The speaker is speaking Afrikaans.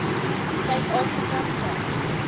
suid afrika se